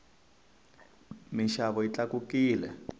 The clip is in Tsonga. minxavo yi tlakukile